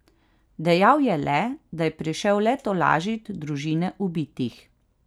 Dejal je le, da je prišel le tolažit družine ubitih.